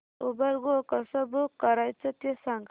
Uber go कसं book करायचं ते सांग